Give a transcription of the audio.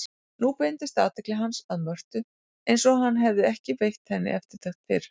Nú beindist athygli hans að Mörtu einsog hann hefði ekki veitt henni eftirtekt fyrr.